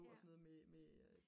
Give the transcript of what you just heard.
på og sådan noget med